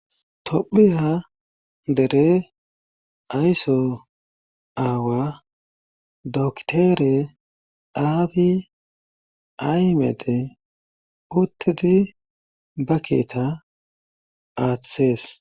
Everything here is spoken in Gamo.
Tophi ha dere ayso aawa doktere aabi aymede uttedi ba keeta aathesees.